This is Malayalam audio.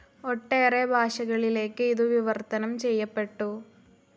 ഒട്ടേറെ ഭാഷകളിലേക്ക് ഇതു വിവർത്തനം ചെയ്യപ്പെട്ടു.